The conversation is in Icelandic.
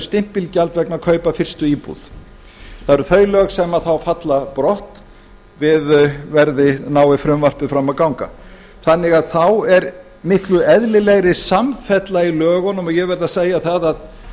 stimpilgjald vegna kaupa á fyrstu íbúð það eru þau lög sem þá falla brott nái frumvarpið fram að ganga þannig að þá er miklu eðlilegri samfella í lögunum og ég